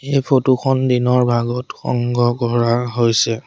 এই ফটো খন দিনৰ ভাগত সংগ্ৰহ কৰা হৈছে।